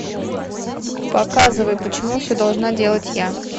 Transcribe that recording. показывай почему все должна делать я